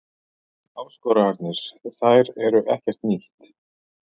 Áskoranir, þær eru ekkert nýtt.